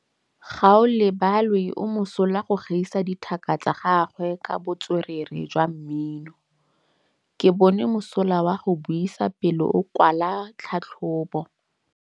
Gaolebalwe o mosola go gaisa dithaka tsa gagwe ka botswerere jwa mmino. Ke bone mosola wa go buisa pele o kwala tlhatlhobô.